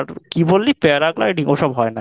কি বললি Paragliding ওসব হয় না এখানে।